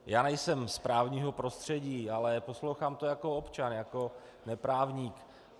Já nejsem z právního prostředí, ale poslouchám to jako občan, jako neprávník.